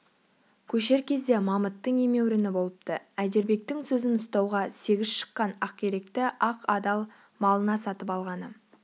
көшер кезде мамыттың емеуріні болыпты әйдербектің сөзін ұстауға сегіз шыққан ақиректі ақ адал малына сатып алғаны